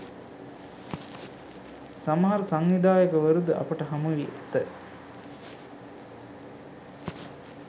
සමහර සංවිධායකවරුද අපට හමුවී ඇත